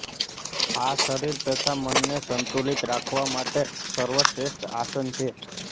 આ શરીર તથા મનને સંતુલિત રાખવા માટેનું સર્વશ્રેષ્ઠ આસન છે